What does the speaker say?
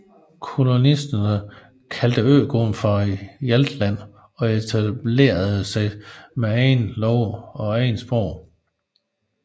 Kolonisterne kaldte øgruppen for Hjaltland og etablerede sig med egne love og eget sprog